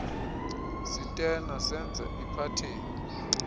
sitena senza iphatheni